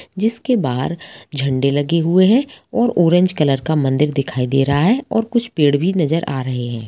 जिसके बाहर झंडे लगे हुए हैं और ऑरेंज कलर का मंदिर दिखाई दे रहा है और कुछ पेड़ भी नजर आ रहें हैं।